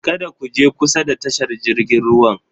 Kada ku je kusa da tashar jirgin ruwan!